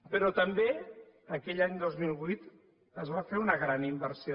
però també aquell any dos mil vuit es va fer una gran inversió